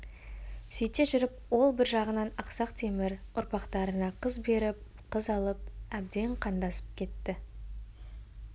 сөйте жүріп ол бір жағынан ақсақ темір ұрпақтарына қыз беріп қыз алып әбден қандасып кетті